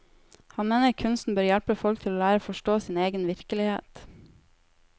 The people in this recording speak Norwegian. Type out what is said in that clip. Han mener kunsten bør hjelpe folk til å lære å forstå sin egen virkelighet.